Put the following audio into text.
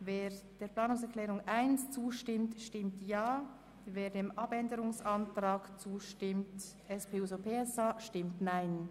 Wer die Planungserklärung 1 annimmt, stimmt Ja, wer den Abänderungsantrag 2 annimmt, stimmt Nein.